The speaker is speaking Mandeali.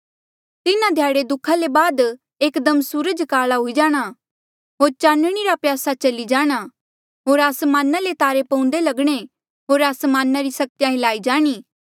तिन्हा ध्याड़े दुःखा ले बाद एकदम सूरज काला हुई जाणा होर चानणी रा प्रयासा चली जाणा होर आसमाना ले तारे पऊंदे लगणे होर आसमाना री सक्तिया हिल्लाई जाणी